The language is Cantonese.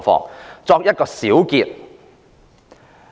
我作一個小結。